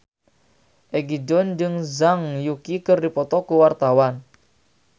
Egi John jeung Zhang Yuqi keur dipoto ku wartawan